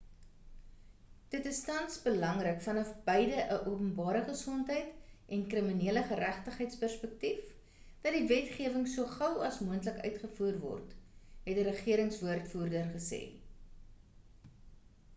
dit is tans belangrik vanaf beide 'n openbare gesondheid en kriminele geregtigheids perspektief dat die wetgewing so gou as moontlik uitgevoer word het 'n regerings-woordvoerder gesê